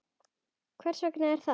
Hver segir það?